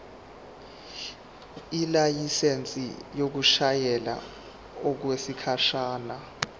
ilayisensi yokushayela okwesikhashana